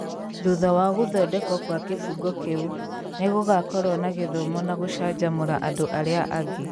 Thutha wa gũthondekwo gwa kĩbungo kĩu, nĩ gũgakorũo na gĩthomo na gũcanjamũra andũ arĩa angĩ.